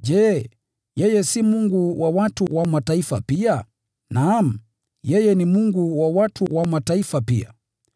Je, yeye si Mungu wa watu wa Mataifa pia? Naam, yeye ni Mungu wa watu wa Mataifa pia.